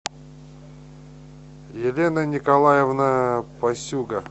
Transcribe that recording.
елена николаевна пасюга